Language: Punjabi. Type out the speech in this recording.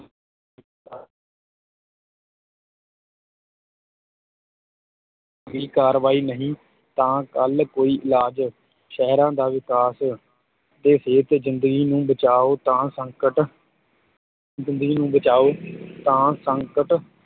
ਦੀ ਕਾਰਵਾਈ ਨਹੀਂ ਤਾਂ ਕੱਲ੍ਹ ਕੋਈ ਇਲਾਜ, ਸਹਿਰਾਂ ਦਾ ਵਿਕਾਸ ਅਤੇ ਸਿਹਤ ਜ਼ਿੰਦਗੀ ਨੂੰ ਬਚਾਉ ਤਾਂ ਸੰਕਟ ਜ਼ਿੰਦਗੀ ਨੂੰ ਬਚਾਉ ਤਾਂ ਸੰਕਟ